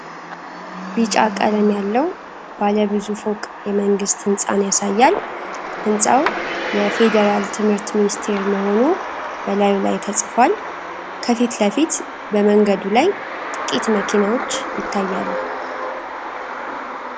ቢጫ ቀለም ያለው ባለ ብዙ ፎቅ የመንግስት ህንጻን ያሳያል። ሕንፃው የፌዴራል ትምህርት ሚኒስቴር መሆኑ በላዩ ላይ ተጽፏል። ከፊት ለፊት፣ በመንገዱ ላይ ጥቂት መኪኖች ይታያሉ።